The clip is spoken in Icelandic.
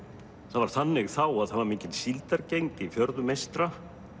það var þannig þá að það var mikil síldargengd í fjörðum eystra